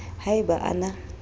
ha e ba a na